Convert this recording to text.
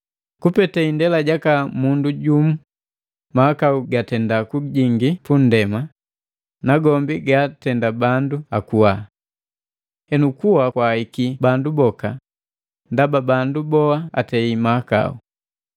Kupete indela jaka mundu jumu mahakau gatenda kujingi punndema, nagombi gaatenda bandu akuwa. Henu kuwa kwaahiki bandu boka ndaba bandu bowa atei mahakau.